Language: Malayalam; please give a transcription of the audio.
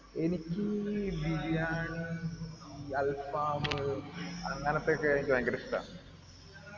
എനിക്ക് ഈ ബിരിയാണി അൽഫാം അങ്ങനത്തെ ഒക്കെ എനിക്ക് ഭയങ്കര ഇഷ്ടാ